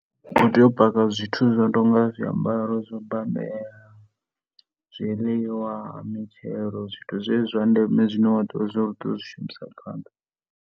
U tea u paka zwithu zwo no tou nga zwiambaro zwo babela, zwiḽiwa, mitshelo zwithu zwezwi zwa ndeme zwine wa tea zwo ri u tea u zwi shumisa phanḓa.